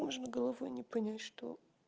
можно головой не понять что